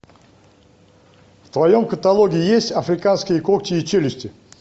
в твоем каталоге есть африканские когти и челюсти